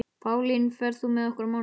Pálín, ferð þú með okkur á mánudaginn?